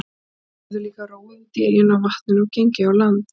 Þau höfðu líka róið út í eyjuna á vatninu og gengið á land.